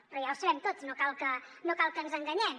però ja ho sabem tots no cal que ens enganyem